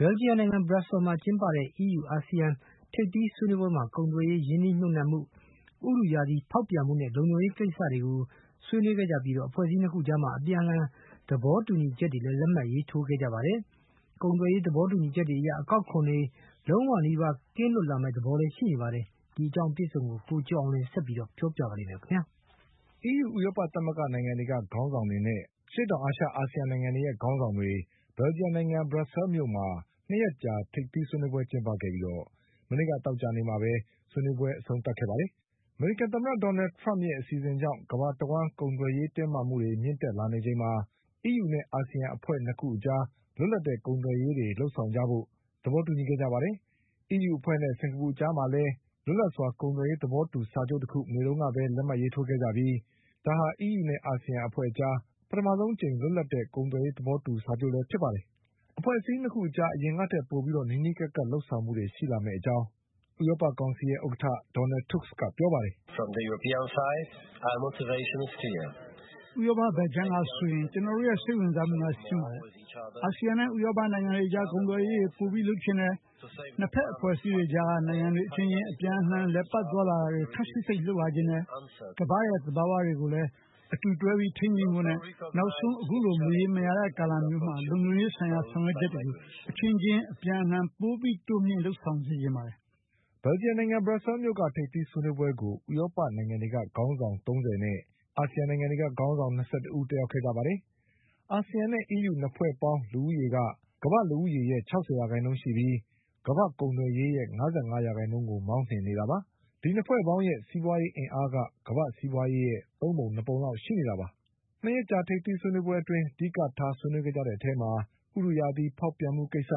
ဘလ်ဂျီယံနိုင်ငံ ဘရပ်ဆဲလ်မြို့မှာကျင်းပတဲ့ EU-ASEAN ထိပ်သီးဆွေးနွေးပွဲမှာ ကုန်သွယ်ရေး၊ ရင်းနှီးမြှုပ်နှံမှု၊ ဥတုရာသီ ဖေါက်ပြန်မှုနဲ့ လုံခြုံရေးကိစ္စတွေကိုဆွေးနွေးခဲ့ကြပြီး အဖွဲ့အစည်း၂ ခု အကြား အပြန်အလှန် သဘော တူညီချက်တွေလည်း လက်မှတ်ရေးထိုးခဲ့ကြပါတယ်။ ကုန်သွယ်ရေး သဘောတူညီချက်တွေအရ အကောက် ခွန်တွေ အားလုံးနီးပါးကင်းလွတ် လာမယ့်သဘောတွေ ရှိနေပါတယ်။ ဒီအကြောင်း ကိုကျော်အောင်လွင်က ဆက်ပြီးပြောပြပါလိမ့်မယ်။ EU ဥရောပသမဂ္ဂနိုင်ငံံတွေက ခေါင်းဆောင်တွေနဲ့ အာဆီယံနိုင်ငံတွေရဲ့ခေါင်းဆောင်တွေ ဘလ်ဂျီ ယံ နိုင်ငံ ဘရပ်ဆဲလ်မြို့မှာ ၂ ရက်ကြာထိပ်သီးဆွေးနွေးပွဲကျင်းပခဲ့ပြီး မနေ့ကသောကြာနေ့ မှာပဲ ဆွေးနွေးပွဲ အဆုံးသတ် ခဲ့တာပါ။ အမေရိကန်သမ္မတ ဒေါ်နလ်ထရမ့်ရဲ့အဆီစဉ်ကြောင့် ကမ္ဘာတဝှမ်း ကုန်သွယ်ရေးတင်းမာမှုတွေ မြင့်တက်လာနေချိန်မှာ အီးယူနဲ့အာဆီယံအဖွဲ့ ၂ ခု အကြား လွတ်လပ် တဲ့ ကုန်သွယ်ရေးတွေလုပ်ဆောင်ကြဖို့ မနေ့က သောကြာနေ့တုန်းက သဘောတူခဲ့ကြပါတယ်။ အီးယူအဖွဲ့နဲ့ စင်္ကာပူအကြားမှာလည်း လွတ်လပ်စွာ ကုန်သွယ်ရေးသဘောတူစာချုပ်တခုကို မနေ့ကပဲ လက်မှတ်ရေးထိုးခဲ့ကြပြီး ဒါဟာ အီးယူနဲ့အာဆီယံအကြား ပထမဆုံးအကြိမ် လွတ်လပ်တဲ့ ကုန်သွယ်ရေးသဘောတူစာချုပ်လည်းဖြစ်ပါတယ်။ အဖွဲ့ အစည်း ၂ ခုအကြား အရင်ကထက်ပိုပြီး နီးနီးကပ်ကပ်လုပ်ဆောင်မှုတွေရှိလာမယ့်အကြောင်းဥရောပကောင်ဆီရဲ့ ဥက္ကဋ္ဌ Donald Tusk ကပြောပါတယ်။ “ဥရောပဘက်ခြမ်းကဆိုရင် ကျနော်တို့ရဲ့ စိတ်ဝင်စားမှုက ရှင်းပါတယ်။ အာဆီယံနဲ့ ဥရောပနိုင်ငံတွ အကြား ကုန်သွယ်ရေးတွေ ပိုပြီးလုပ်ချင်တယ်။ ၂ ဘက်အဖွဲ့အစည်းအကြားက နိုင်ငံတွေအချင်းချင်း အပြန်အလှန် အလည်အပတ် သွားတာတွေ ခပ်စိပ်စိပ်လုပ်လာချင်တယ်။ ကမ္ဘာ့ရဲ့သဘာဝတွေ ကို လည်း အတူတွဲပြီး ထိန်းသိမ်းဖို့နဲ့ နောက်ဆုံး အခုလိုမရေရာတဲ့ ကာလမျိုးမှာ လုံခြုံရေးဆိုင်ရာ ဆောင်ရွက်ချက်တွေကို အချင်းချင်း အပြန်အလှန် ပိုပြီးတိုးမြှင့်လုပ်ဆောင်စေချင်ပါတယ်။” ဘရပ်ဆဲလ်မြို့က ထိပ်သီးဆွေးနွေးပွဲကို ဥရောပနိုင်ငံတွေက ခေါင်းဆောင် ၃၀ နဲ့ အာဆီယံ နိုင်ငံတွေက ခေါင်းဆောင်၂၁ ဦး တက်ရောက်ခဲ့ကြပါတယ်။ အာဆီယံနဲ့အီးယူ ၂ ဖွဲ့ပေါင်း လူဦးရေ က ကမ္ဘာ့လူဦးရေရဲ့ ခြောက်ဆယ်ရာခိုင်နှုန်းရှိပြီး ကမ္ဘာ့ကုန် သွယ်ရေးရဲ့ ၅၅ ရာခိုင်နှုန်းကို မောင်းနှင်နေတာပါ။ ဒီ ၂ ဖွဲ့ ပေါင်းရဲ့ စီးပွါးရေးအင်အားက ကမ္ဘာ့စီးပွါးရေးရဲ့ သုံးပုံနှစ်ပုံလောက်ရှိ နေတာပါ။ ၂ ရက်ကြာ ထိပ်သီးဆွေးနွေးပွဲအတွင်း အဓိက ဆွေးနွေးခဲ့ကြတဲ့အထဲမှာ ဥတုရာသီ ဖောက်ပြန်မှုကိစ္စ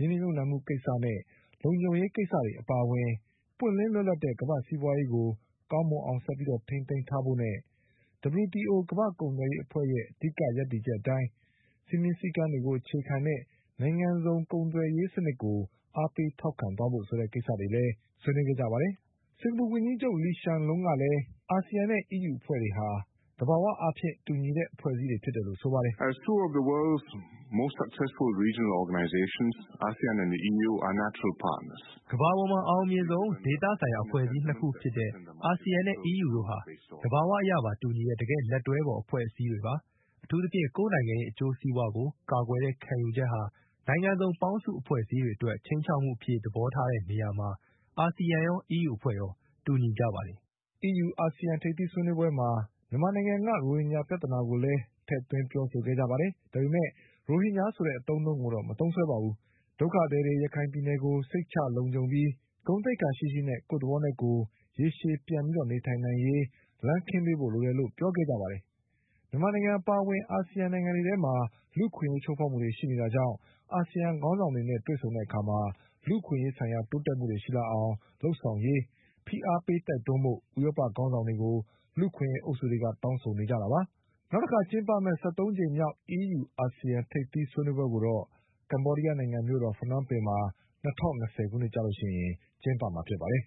၊ ရင်းနှီးမြှုပ်နှံမှုကိစ္စနဲ့ လုံခြုံရေးကိစ္စတွေအပါအဝင် ပွင့်လင်းလွတ်လပ်တဲ့ ကမ္ဘာ့ စီးပွါးရေးကို ကောင်းမွန်အောင်ဆက်ပြီးထိမ်းသိမ်း ထားဖို့နဲ့ WTO ကမ္ဘာ့ ကုန်သွယ် ရေးအဖွဲ့ရဲ့ အဓိက ရပ်တည်ချက်အတိုင်း စည်းမျဉ်းစည်းကမ်းကိုအခြေခံတဲ့ နိုင်ငံစုံကုန်သွယ်ရေး စံနစ်ကို အားပေးထောက်ခံသွားဖို့ဆိုတဲ့ကိစ္စတွေလည်းပါဝင်ပါတယ်။ စင်္ကာပူဝန်ကြီးချုပ် Lee Hsien Loong ကလည်း အာဆီယံနဲ့အီးယူအဖွဲ့တွေဟာ သဘာဝအားဖြင့် တူညီတဲ့အဖွဲ့တွေဖြစ်တယ်လို့ ဆိုပါတယ်။ “ကမ္ဘာပေါ်မှာအအောင်မြင်ဆုံးဒေသဆိုင်ရာအဖွဲ့အစည်း ၂ ခုဖြစ်တဲ့ အာဆီယံနဲ့ အီးယူတို့ဟာ သဘာဝအရပါ တူညီတဲ့ တကယ့်လက်တွဲဖေါ် အဖွဲ့အစည်းတွေပါ။ အထူးသဖြင့် ကိုယ့်နိုင်ငံရဲ့ အကျိုးစီးပွါးကို ကာကွယ်တဲ့ ခံယူချက်ဟာ နိုင်ငံစုံ ပေါင်းစုံ အဖွဲ့အစည်းတွေအတွက် ချိန်းခြောက်မှုအဖြစ် သဘောထားတဲ့နေရာမှာ အာဆီယံရော အီးယူအဖွဲ့ရော တူညီကြပါတယ်။” အီးယူ အာဆီယံထိပ်သီးဆွေးနွေးပွဲမှာ မြန်မာနိုင်ငံက ရိုဟင်ဂျာပြဿနာကိုလည်း ထည့်ပြောခဲ့ကြပါတယ်။ ဒါပေမဲ့ ရိုဟင်ဂျာ ဆိုတဲ့အသုံးအနှုန်းကိုတော့ မသုံးစွဲခဲ့ပါဘူး။ ဒုက္ခသည်တွေ ရခိုင်ပြည်နယ်ကို စိတ်ချလုံခြုံပြီး ဂုဏ်သိက္ခာရှိရှိနဲ့ ကိုယ့်သဘောနဲ့ကိုယ် ရေရှည်ပြန်ပြီး နေထိုင် နိုင်ရေး လမ်းခင်းပေးဖို့လိုတယ်လို့ ပြောခဲ့ကြပါ တယ်။ မြန်မာနိုင်ငံအပါအဝင် အာဆီယံနိုင်ငံတွေ ထဲမှာ လူ့အခွင့်အရေးချိုးဖေါက်မှုတွေရှိနေတာကြောင့် အာဆီယံ ခေါင်းဆောင်တွေနဲ့ဆုံတဲ့အခါ လူ့အခွင့်အရေးဆိုင်ရာ တိုးတက်မှုတွေရှိလာအောင် လုပ်ဆောင်ရေး ဖိအားပေးတိုက်တွန်းဖို့ ဥရောပခေါင်းဆောင်တွေကို လူ့အခွင့်အရေးအုပ်စုတွေက တောင်းဆိုနေကြတာပါ။ ၁၃ ကြိမ်မြောက် အီးယူ-အာဆီယံထိပ်သီးဆွေးနွေးပွဲကိုတော့ ကမ္ဘောဒီးယားနိုင်ငံမြို့တော် ဖနွမ်းပင်မှာ ၂၀၂၀ ခုနှစ်ကျရင် ကျင်းပမှာဖြစ်ပါတယ်